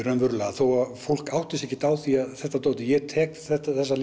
raunverulega þó að fólk átti sig ekkert á því að þetta dót er ég tek þessa